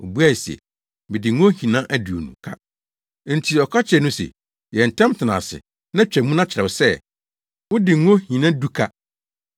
“Obuae se, ‘Mede ngo nhina aduonu ka.’ “Enti ɔka kyerɛɛ no se, ‘Yɛ ntɛm tena ase na twa mu na kyerɛw sɛ, wode ngo nhina du ka.’